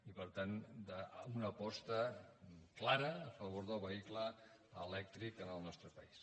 i per tant amb una aposta clara a favor del vehicle elèctric en el nostre país